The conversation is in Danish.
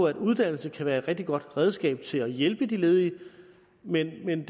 at uddannelse kan være et rigtig godt redskab til at hjælpe de ledige men men